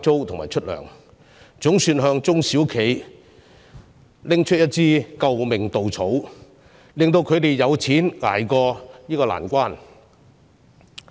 這項措施總算給中小企送上一根"救命稻草"，令它們有資金渡過這個難關。